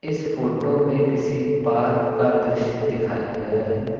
इस फोटो में किसी पार्क का दृश्य दिखाया गया है।